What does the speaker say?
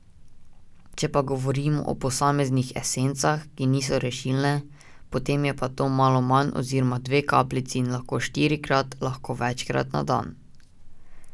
Če pa govorimo o posameznih esencah, ki niso rešilne, potem je pa to malo manj oziroma dve kapljici in lahko štirikrat, lahko večkrat na dan.